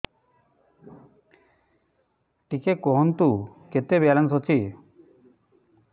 ଟିକେ କୁହନ୍ତୁ କେତେ ବାଲାନ୍ସ ଅଛି